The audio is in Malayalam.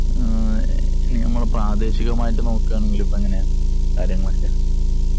ഇനി നമ്മള് പ്രാദേശികമായിട്ട് നോക്കുകയാണെങ്കില്‍ ഇപ്പൊ എങ്ങനെയാ കാര്യങ്ങളൊക്കെ?